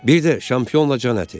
Bir də çampinyonla can əti.